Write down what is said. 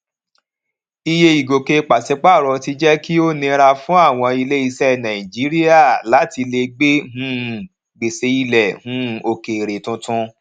iye ìgòkè pàṣípàrọ ti jẹ kí ó ó nira fún àwọn ilé iṣẹ nàìjíríà láti lè gbé um gbèsè ilẹ um òkèèrè tuntun